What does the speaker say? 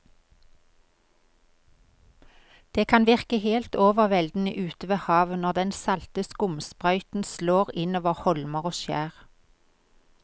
Det kan virke helt overveldende ute ved havet når den salte skumsprøyten slår innover holmer og skjær.